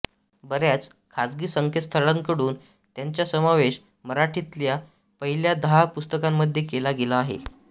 बऱ्याच खाजगी संकेतस्थळांकडून याचा समावेश मराठीतल्या पहिल्या दहा पुस्तकांमध्ये केला गेला आहे